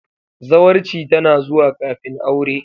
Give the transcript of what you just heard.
Zawarci tana zuwa kafin aure.